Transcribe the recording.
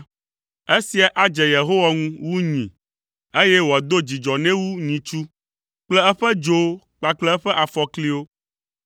Esia adze Yehowa ŋu wu nyi, eye wòado dzidzɔ nɛ wu nyitsu kple eƒe dzowo kpakple eƒe afɔkliwo.